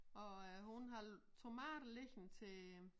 Og øh hun har tomater liggende til